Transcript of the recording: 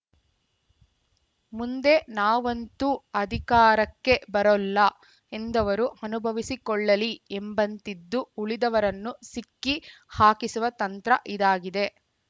ಮುಂದೆ ನಾವಂತೂ ಅಧಿಕಾರಕ್ಕೆ ಬರೋಲ್ಲಎಂದವರು ಅನುಭವಿಸಿಕೊಳ್ಳಲಿ ಎಂಬಂತಿದ್ದು ಉಳಿದವರನ್ನು ಸಿಕ್ಕಿ ಹಾಕಿಸುವ ತಂತ್ರ ಇದಾಗಿದೆ